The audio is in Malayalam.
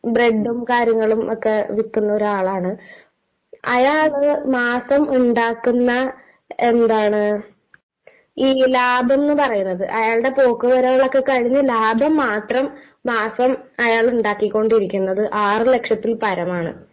ഈ ബ്രെഡും കാര്യങ്ങളുമൊക്കെ വിൽക്കുന്ന ഒരാളാണ്, അയാള് മാസം ഉണ്ടാക്കുന്ന ഈ ലാഭം ന്നു പറയണത്, അയാളുടെ പോക്കുവരവൊക്കെ കഴിഞ്ഞു ലാഭം മാത്രം അയാളുണ്ടാക്കിക്കൊണ്ടിരിക്കുന്നത് മാസം ആറ് ലക്ഷത്തില്പരമാണ്.